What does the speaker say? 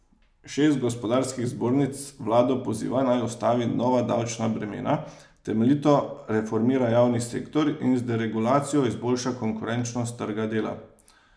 Šest gospodarskih zbornic vlado poziva, naj ustavi nova davčna bremena, temeljito reformira javni sektor in z deregulacijo izboljša konkurenčnost trga dela.